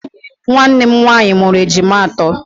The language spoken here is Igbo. Nwannem nwaanyị mụrụ ejima atọ.